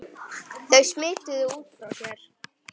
Þau smituðu út frá sér.